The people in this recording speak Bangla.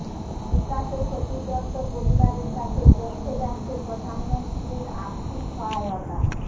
বিকাশে ক্ষতিগ্রস্ত পরিবারের কাছে পৌঁছে যাচ্ছে প্রধানমন্ত্রীর আর্থিক সহায়তা